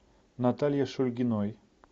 наталье шульгиной